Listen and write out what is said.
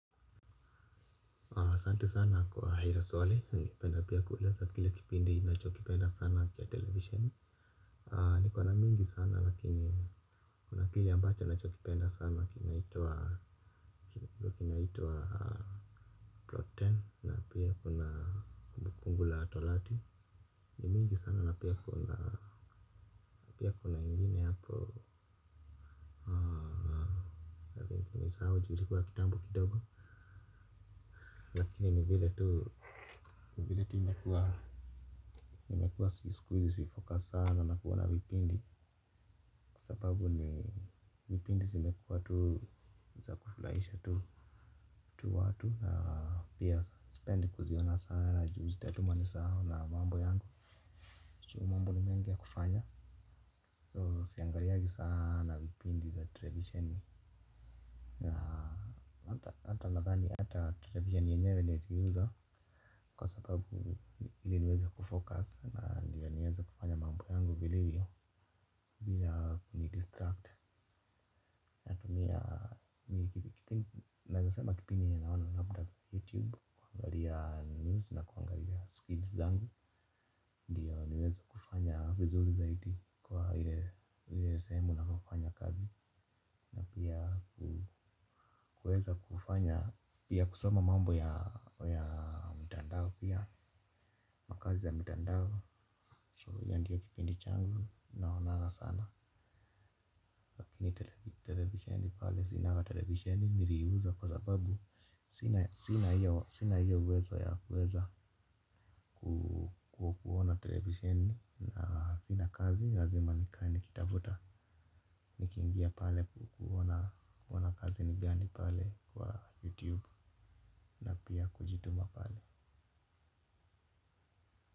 Ahsante sana kwa hilo swali ningependa pia kueleza kile kipindi nachokipenda sana cha television. Niko na mingi sana lakini kuna kile ambacho nachokipenda sana kinaitwa kinaituwa Ploten na pia kuna kumbukumbu la torati ni mingi sana na pia kuna pia kuna ingine hapo nimesahau ju ilikuwa kitambo kidogo lakini ni vile tu. Vile tu imekuwa. Imekuwa sikuhizi si focus sana na kuona vipindi sababu ni vipindi zimekuwa tu za kufurahisha tu watu na pia sipendi kuziona sana ju zitatuma nisahau na mambo yangu ju mambo ni mengi ya kufanya so siangaliangi sana vipindi za televisheni na hata nadhani hata television yenyewe niliuza kwa sababu ili niweza kufocus na ndiyo niweza kufanya mambo yangu vilivyo bila kunidistract. Natumia hii kipindi naeza sema kipindi yenye naona labda ni youtube naangalia news na kuangalia skills zangu. Ndiyo niweze kufanya vizuri zaidi kwa ile sehemu ninapo fanya kazi. Pia kueza kufanya pia kusoma mambo ya mtandao pia makazi ya mitandao so hiyo ndio kipindi changu naonaga sana. Lakini televisheni pale sinanga televisheni niliiuza kwa sababu sina sina hiyo uwezo ya kuweza kuona televisheni na sina kazi lazima nikae nikitafuta nikiingia pale kuona kazi ni gani pale kwa youtube na pia kujituma pale.